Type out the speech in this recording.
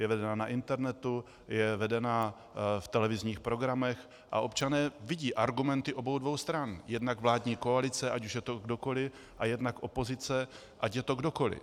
Je vedená na internetu, je vedená v televizních programech a občané vidí argumenty obou dvou stran, jednak vládní koalice, ať už je to kdokoliv, a jednak opozice, ať je to kdokoliv.